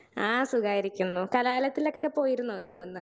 Speaker 1 ആ സുഖായിരിക്കുന്നു കലഹാളത്തിനൊക്കെ പോയിരുന്നോ?